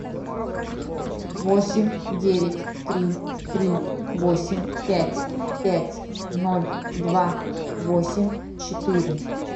восемь девять три три восемь пять пять ноль два восемь четыре